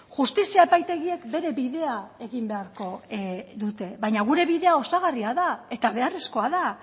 justizia epaitegiek bere bidea egin beharko dute baina gure bidea osagarria da eta beharrezkoa da